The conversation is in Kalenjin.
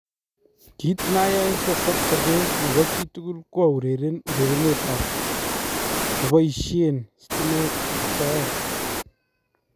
" Kiit nayae sasoob sobeen nebo chitukul ko aureren urerenetab neboisyeen stimeet en soyeet